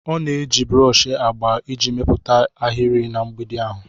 Ọ na-eji broshi agba iji mepụta ahịrị na mgbidi ahụ.